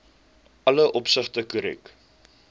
alle opsigte korrek